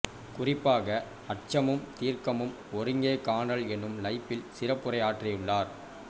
குறிப்பாக அட்சமும் தீர்க்கமும் ஒருங்கே காணல் எனும் லைப்பில் சிறப்புரை ஆற்றியுள்ளார்